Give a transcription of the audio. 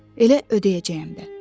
Elə ödəyəcəyəm də.